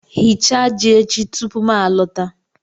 Ghichaa ji echi tupu m alọta